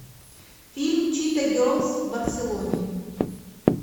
фильм чита герлз в барселоне